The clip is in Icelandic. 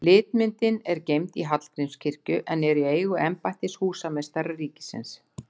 Litmyndin er geymd í Hallgrímskirkju, en er í eigu embættis húsameistara ríkisins.